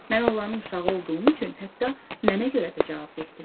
Mən onların uşağı olduğum üçün hətta mənə görə də cavabdeh dilər.